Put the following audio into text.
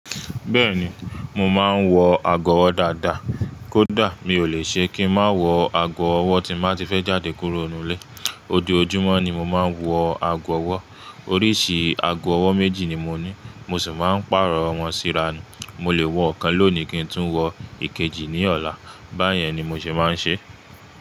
Bẹ́ẹ̀ni, mo máa ń wọ ago ọwọ́ dáadáa. Kódà mi ò lè ṣe kí ń má wọ ago ọwọ́ tí n mà ti fẹ́ jáde kúrò nínú ilé. Ojoojúmọ́ ni mo máa ń wọ ago ọwọ́. Oríṣi ago ọwọ́ méjì ni mo ní. Mo sì máa ń pààrọ̀ wọ́n síra ni. Mo lè wọ ọ̀kan lónìí kí n tún wọ ìkejì ní ọ̀la. Báyẹn ni mo ṣe máa ń ṣe.